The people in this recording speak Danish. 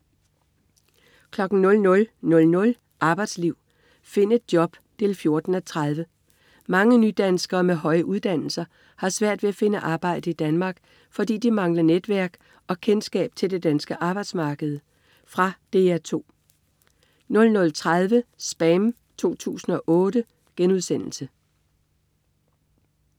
00.00 Arbejdsliv. Find et job 14:30. Mange nydanskere med høje uddannelser har svært ved at finde arbejde i Danmark, fordi de mangler netværk og kendskab til det danske arbejdsmarked. Fra DR 2 00.30 SPAM 2008*